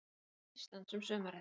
Íslands um sumarið.